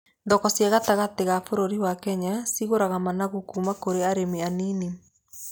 Thoko cia gatagatĩ ga bũrũri wa Kenya cigũraga managu kuuma kũrĩ arĩmi a nini.